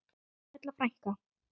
Erla frænka.